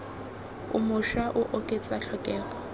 o mošwa o oketsa tlhokego